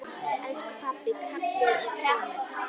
Elsku pabbi, kallið er komið.